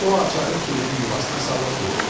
O açarı kilidin yuvasına salıb burdu.